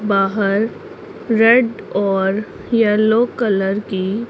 बाहर रेड और yellow colour की--